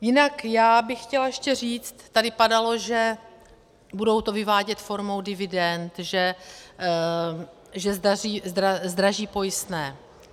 Jinak já bych chtěla ještě říct, tady padalo, že budou to vyvádět formou dividend, že zdraží pojistné.